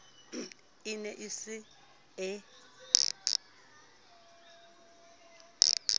e ne e se e